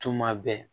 Tuma bɛɛ